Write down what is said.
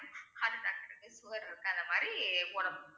heart attack க்கு இருக்கு sugar இருக்கா அந்த மாதிரி போடணும்